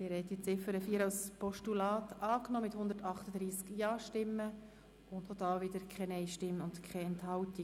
Sie haben die Ziffer 4 als Postulat angenommen mit 138 Ja-, ohne Nein-Stimmen und Enthaltungen.